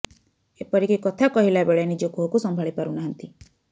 ଏପରିକି କଥା କହିଲା ବେଳେ ନିଜ କୋହକୁ ସମ୍ଭାଳି ପାରୁନାହାନ୍ତି